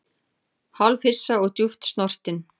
Hálfhissa og djúpt snortinn